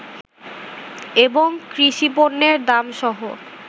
এবং কৃষিপণ্যের দাম সহ